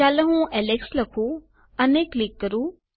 ચાલો હું એલેક્સ લખું અને અહીં ક્લિક કરું